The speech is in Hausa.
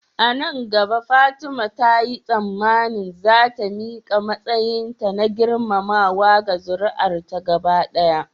A nan gaba Fatima ta yi tsammanin za ta miƙa matsayinta na girmamawa ga zuri'ar ta gaba.